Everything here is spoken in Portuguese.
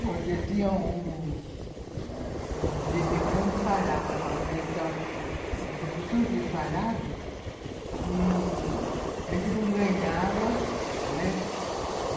Porque tinha um ãh... De vez em quando parava a fábrica, a gente ficava uma porção de tempo parado e a gente não ganhava, né?